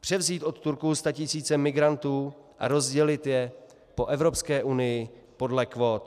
převzít od Turků statisíce migrantů a rozdělit je po Evropské unii podle kvót.